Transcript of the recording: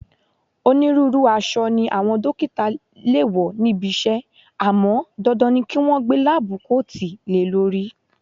Onírúurú aṣọ ni àwọn dókítà le wo níbi iṣẹ́ àmọ́ dandan ni kí wọn gbé láábú koòtù le lórí